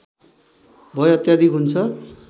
भय अत्याधिक हुन्छ